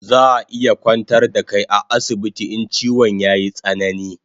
Zaa iya kwantar da kai a asibiti in chiwon yayi tsanani